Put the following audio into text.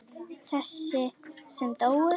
Þessi sem dóu?